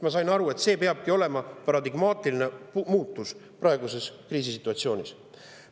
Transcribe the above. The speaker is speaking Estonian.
Ma sain aru, et praeguses kriisisituatsioonis peab olema paradigmaatiline muutus.